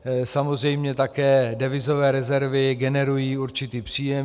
Samozřejmě také devizové rezervy generují určitý příjem.